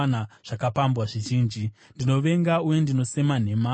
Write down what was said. Ndinovenga uye ndinosema nhema, asi ndinoda murayiro wenyu.